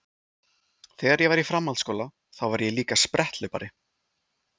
Þegar ég var í framhaldsskóla þá var ég líka spretthlaupari.